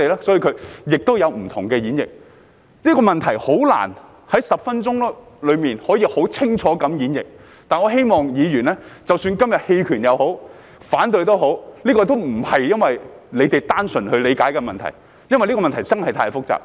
所以，會有不同演繹，這問題難以在10分鐘內可以很清楚地演繹，但我希望議員明白，即使他們今天投棄權或反對票，也不是因為他們單純地理解這問題，而是因為這問題真的太複雜。